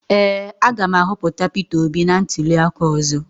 Ee, a ga m ahọpụta peter obi na ntuli aka ọzọ.